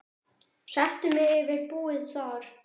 Settu mig yfir búið þar.